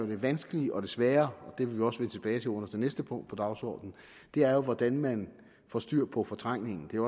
det vanskelige og det svære og det vil vi også vende tilbage til under det næste punkt på dagsordenen er jo hvordan man få styr på fortrængningen det er